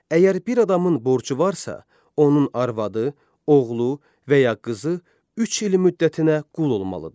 Əgər bir adamın borcu varsa, onun arvadı, oğlu və ya qızı üç il müddətinə qul olmalıdır.